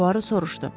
Puaro soruşdu.